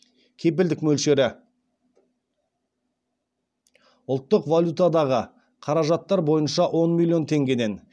кепілдік мөлшері ұлттық валютадағы қаражаттар бойынша он миллион теңгеден